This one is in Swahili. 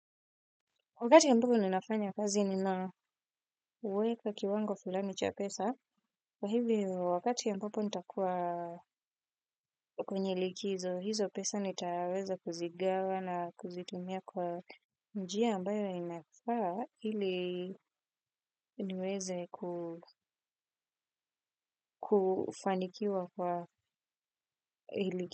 Wakati ambapo ninafanya kazi ninaweka kiwango fulani cha pesa, kwa hivyo wakati ambapo nitakuwa kwenye likizo, hizo pesa nitaweza kuzigawa na kuzitumia kwa njia ambayo inafaa ili niweze kufanikiwa kwa hili.